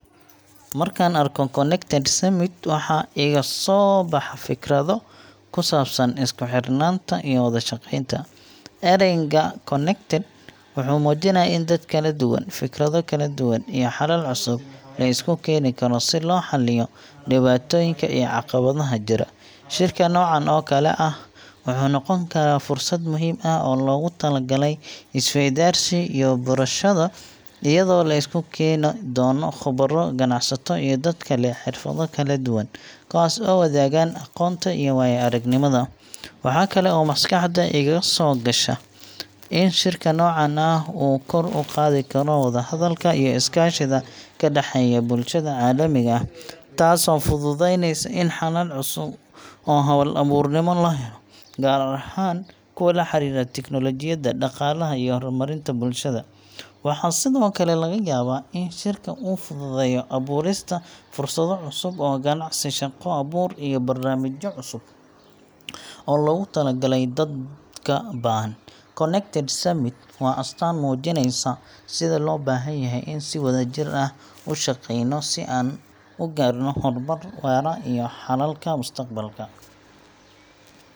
Markaan arko Connected Summit, waxaa iga soo baxa fikrado ku saabsan isku-xirnaanta iyo wada shaqeynta. Erayga connected wuxuu muujinayaa in dad kala duwan, fikrado kala duwan, iyo xalal cusub la isku keeni karo si loo xalliyo dhibaatooyinka iyo caqabadaha jira. Shirka noocan oo kale ah wuxuu noqon karaa fursad muhiim ah oo loogu talagalay is-weydaarsi iyo barashada, iyadoo la isku keeni doono khubaro, ganacsato, iyo dadka leh xirfado kala duwan, kuwaas oo wadaagaan aqoonta iyo waaya-aragnimada. Waxa kale oo maskaxda iga soo gasha in shirka noocan ah uu kor u qaadi karo wada-hadalka iyo iskaashiga ka dhexeeya bulshada caalamiga ah, taasoo fududaynaysa in xalal cusub oo hal-abuurnimo la helo, gaar ahaan kuwa la xiriira teknoolojiyadda, dhaqaalaha, iyo horumarinta bulshada. Waxaa sidoo kale laga yaabaa in shirka uu fududeeyo abuurista fursado cusub oo ganacsi, shaqo abuur, iyo barnaamijyo cusub oo loogu talagalay dadka baahan. Connected Summit waa astaan muujinaysa sida loo baahan yahay in aan si wadajir ah u shaqeyno si aan u gaarno horumar waara iyo xalalka mustaqbalka.